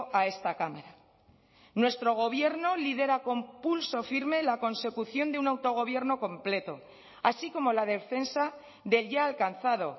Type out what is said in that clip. a esta cámara nuestro gobierno lidera con pulso firme la consecución de un autogobierno completo así como la defensa del ya alcanzado